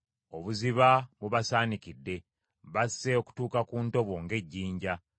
Obuziba bubasaanikidde; basse okutuuka ku ntobo ng’ejjinja.